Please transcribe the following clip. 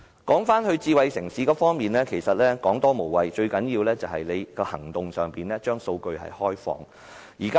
說回智慧城市方面，其實多說無益，最重要的是政府要採取實際行動來開放數據。